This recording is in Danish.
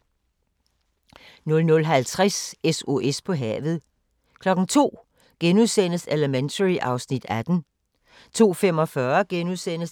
00:50: SOS på havet 02:00: Elementary (Afs. 18)* 02:45: